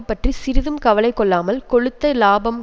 பற்றி சிறிதும் கவலை கொள்ளாமல் கொழுத்த இலாபம்